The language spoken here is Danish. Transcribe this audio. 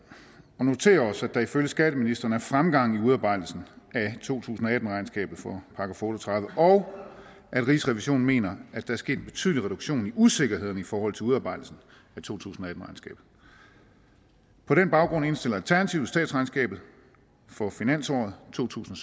og noterer os at der ifølge skatteministeren er fremgang i udarbejdelsen af to tusind og atten regnskabet for § otte og tredive og at rigsrevisionen mener at der er sket en betydelig reduktion i usikkerhederne i forhold til udarbejdelsen af to tusind og atten regnskabet på den baggrund indstiller alternativet statsregnskabet for finansåret to tusind